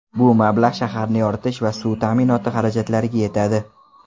Bu mablag‘ shaharni yoritish va suv ta’minoti xarajatlariga yetadi.